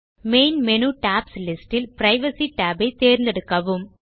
main menu tabs list இல் privacy tab ஐ தேர்ந்தெடுக்கவும்